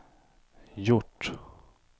gjort